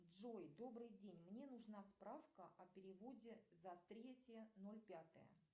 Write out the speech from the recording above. джой добрый день мне нужна справка о переводе за третье ноль пятое